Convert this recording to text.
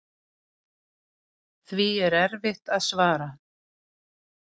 Því er erfitt að svara.